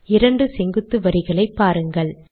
இரண்டு செங்குத்து வரிகளை பாருங்கள்